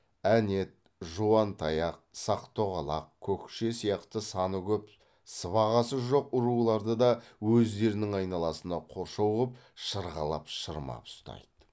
әнет жуантаяқ сақ тоғалақ көкше сияқты саны көп сыбағасы жоқ руларды да өздерінің айналасына қоршау қып шырғалап шырмап ұстайды